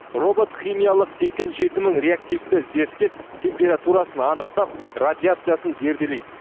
робот химиялық сексен жеті мың реактивті зерттеп температурасын анықтап радиациясын зерделейді